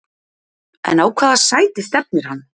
En á hvaða sæti stefnir hann?